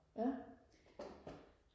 ja